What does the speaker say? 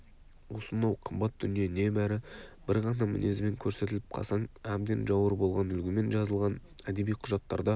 осынау қымбат дүние небәрі бір ғана мінезбен көрсетіліп қасаң әбден жауыр болған үлгімен жазылған әдеби құжаттарда